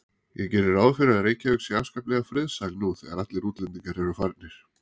Ég geri ráð fyrir að Reykjavík sé afskaplega friðsæl nú þegar allir útlendingar eru farnir.